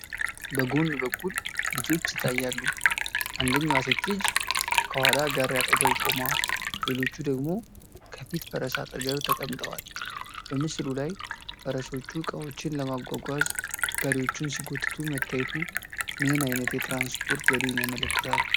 በጎን በኩል ልጆች ይታያሉ፤ አንደኛዋ ሴት ልጅ ከኋላ ጋሪ አጠገብ ቆማ፣ ሌሎቹ ደግሞ ከፊት ፈረስ አጠገብ ተቀምጠዋል። በምስሉ ላይ ፈረሶች ዕቃዎችን ለማጓጓዝ ጋሪዎችን ሲጎትቱ መታየቱ ምን ዓይነት የትራንስፖርት ዘዴን ያመለክታል?